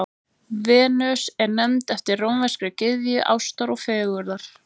Venus er nefnd eftir rómverskri gyðju ástar og fegurðar.